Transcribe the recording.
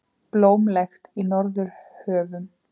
Blómlegt í Norðurhöfum